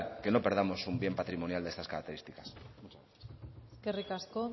que no perdamos un bien patrimonial de estas características muchas gracias eskerrik asko